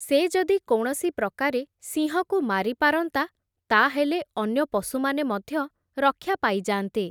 ସେ ଯଦି କୌଣସି ପ୍ରକାରେ ସିଂହକୁ ମାରି ପାରନ୍ତା, ତା’ ହେଲେ ଅନ୍ୟ ପଶୁମାନେ ମଧ୍ୟ ରକ୍ଷା ପାଇଯାଆନ୍ତେ ।